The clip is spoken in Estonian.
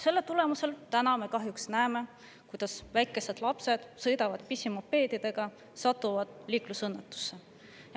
Selle tõttu nüüd me kahjuks näeme, kuidas väikesed lapsed sõidavad pisimopeedidega ja satuvad liiklusõnnetusse.